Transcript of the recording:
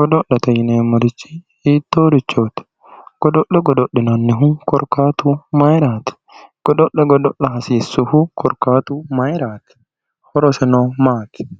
godo'lete yineemmorichi hiittoorichooti godo'le godo'linannihu korkaatu mayiraati godo'le godo'la hasiissuhu korkaatu mayiraati horoseno maati